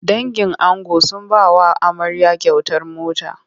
Dangin ango sun ba wa amarya kyautar mota.